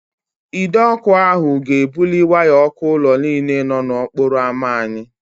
Ide ọkụ ahụ ga-ebuli waya ọkụ ụlọ niile nọ n'okporo ámá anyị.